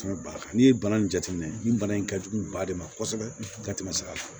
n'i ye bana in jateminɛ nin bana in ka jugu ba de ma kosɛbɛ ka tɛmɛ sira fɛ